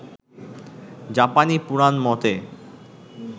জাপানি পুরান মতে